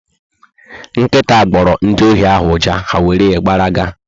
Nkịta gboro ndị ohi ahụ ụja, ha wéré gbara ga